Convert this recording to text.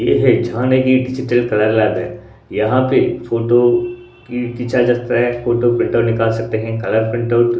ये है झानेगी डिजिटल कलर लागे यहां पे एक फोटो की फोटो प्रिंटर निकाल सकते है कलर प्रिंट आउट --